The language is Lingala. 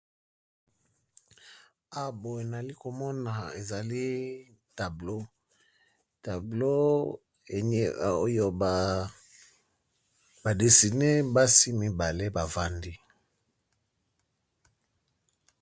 Awa boye nayali komona ezali tablo, tablo oyo ba desine basi mibale bavandi.